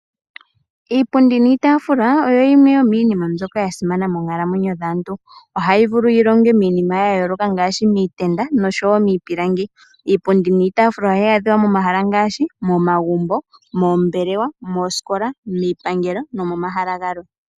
Iipundi niitaafula oyo yimwe yomiinima mbyoka ya simana moonkalamwenyo dhaantu. Ohayi vulu yi longwe miinima ya yooloka ngaashi miitenda oshowo miipilangi. Iipundi niitaafula ohayi adhiwa momahala ngaashi momagumbo, moombelewa, moosikola miipangelo nomomahala galwe.